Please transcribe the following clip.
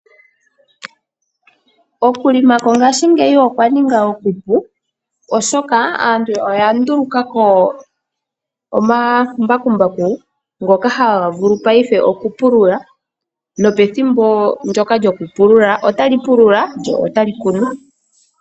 Okuhelela mongashingeyi okwa ninga okupu oshoka aantu oya nduluka po omambakumbaku ngoka haga vulu paife okupulula, nopethimbo ndyoka lyokupulula ota li pulula lyo tali kunu.